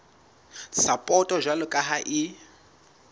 sapoto jwalo ka ha e